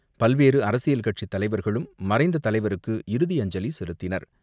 பல்வேறு அரசியல் கட்சித் தலைவர்களும் மறைந்த தலைவருக்கு இறுதி அஞ்சலி செலுத்தினர்.